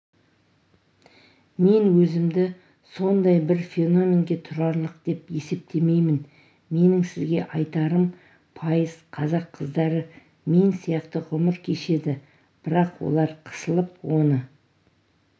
мен өзімді сондай бір феноменгетұрарлық деп есептемеймін менің сізге айтарым пайыз қазақ қыздары мен сияқты ғұмыр кешеді бірақ олар қысылып оны